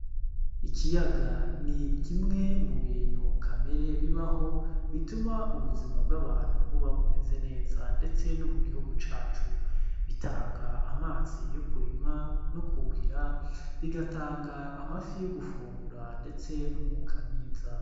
Ikiyaga ni kimwe mu bintu kamere bibaho bituma ubuzima bw'abantu buba bumeze neza ndetse no mu gihugu cacu. Bitanga amazi yo kurima no kuhira bigatanga amafi yo gufungura ndetse n'umwuka mwiza.